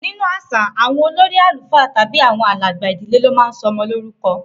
Ninu aṣa, awọn olori alufa tabi awọn alagba idile lo ma ń sọ ọmọ lorukọ